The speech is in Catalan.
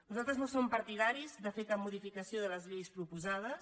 nosaltres no som partidaris de fer cap modificació de les lleis proposades